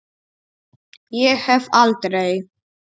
Ég hef aldrei.